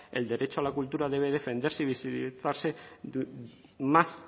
el derecho a la cultura debe defenderse y visibilizarse más